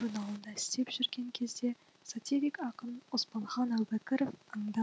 журналында істеп жүрген кезде сатирик ақын оспанхан әубәкіров анда